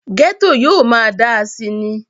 gẹ́tò yóò máa dáa síi ni